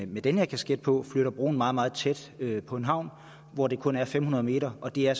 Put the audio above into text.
med den her kasket på flytter broen meget meget tæt på en havn hvor det kun er fem hundrede meter og det er